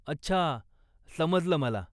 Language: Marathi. अच्छा, समजलं मला.